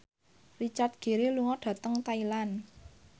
Richard Gere lunga dhateng Thailand